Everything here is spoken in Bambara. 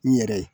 N yɛrɛ ye